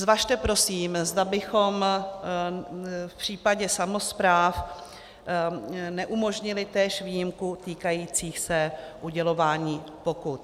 Zvažte prosím, zda bychom v případě samospráv neumožnili též výjimku týkající se udělování pokut.